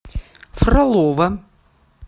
фролово